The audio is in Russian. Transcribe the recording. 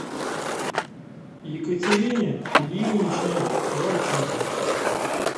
екатерине ильиничне радченко